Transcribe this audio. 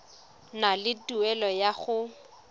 na le tumelelo ya go